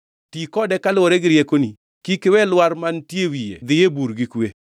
Ti kode kaluwore gi riekoni, to kik iwe lwar mantie e wiye dhi e bur gi kwe.